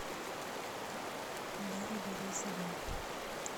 дарью борисовну